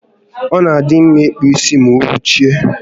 Ọ na adị mma ịkpụ isi ma oruchie